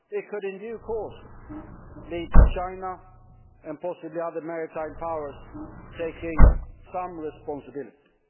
It could, in due course, lead to China, and possibly other maritime powers, taking some responsibilities.